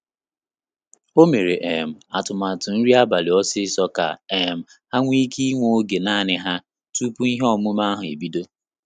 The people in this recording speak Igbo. O mere um atụmatụ nri abalị osiso ka um ha nweike inwe oge nanị ha tupu ihe omume ahụ ebido